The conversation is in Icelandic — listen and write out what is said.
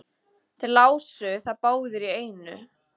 Þeir lásu það báðir í einu.